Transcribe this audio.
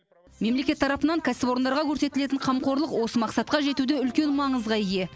мемлекет тарапынан кәсіпорындарға көрсетілетін қамқорлық осы мақсатқа жетуде үлкен маңызға ие